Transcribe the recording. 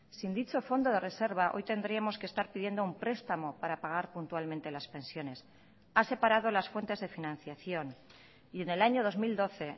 sin dicho fondo de reserva hoy tendríamos que estar pidiendo un prestamo para pagar puntualmente las pensiones ha separado las fuentes de financiación y en el año dos mil doce